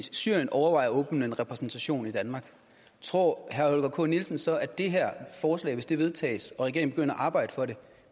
syrien overvejer at åbne en repræsentation i danmark tror herre holger k nielsen så at det her forslag hvis det vedtages og regeringen begynder at arbejde for det